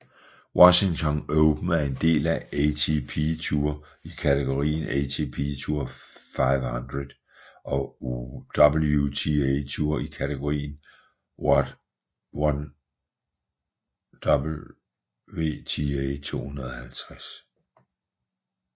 Washington Open er en del af ATP Tour i kategorien ATP Tour 500 og WTA Tour i kategorien WTA 250